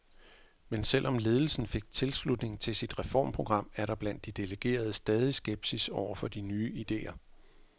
Men selv om ledelsen fik tilslutning til sit reformprogram, er der blandt de delegerede stadig skepsis over for de nye idéer.